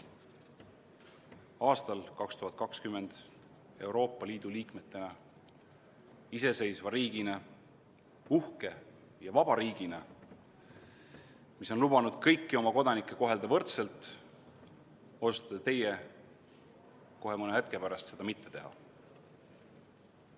Aastal 2020 Euroopa Liidu liikmesriigis, iseseisvas riigis, uhkes ja vabas riigis, mis on lubanud kõiki oma kodanikke kohelda võrdselt, otsustate teie kohe mõne hetke pärast seda mitte teha.